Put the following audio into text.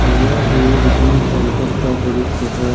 यह एक gym centre का दृश्य है।